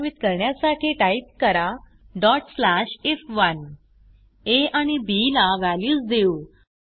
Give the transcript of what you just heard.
कार्यान्वित करण्यासाठी टाईप करा if1 आ आणि बी ला व्हॅल्यूज देऊ